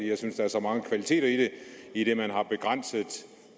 jeg synes der er så mange kvaliteter i det idet man har begrænset